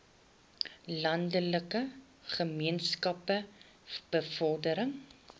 landelike gemeenskappe bevordering